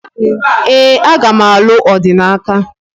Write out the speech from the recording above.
Ee, aga m alụ Odinaka